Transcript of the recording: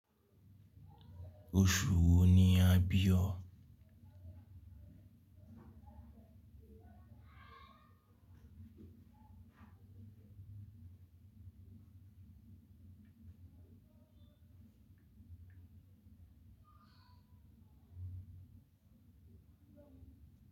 Oṣù wo ni a bí ọ?